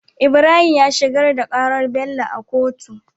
Ibrahim ya shigar da karar Bello a kotu